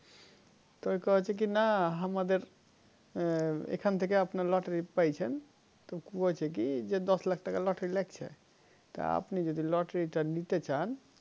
তো কয়েছে যে না আমাদের এখেন থেকে অমনি lottery পাইছেন তো কি হয়েছে কি দশ লাখ টাকা lottery লাগছে এমনি যদি lottery নিতে চান